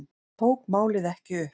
Hann tók málið ekki upp.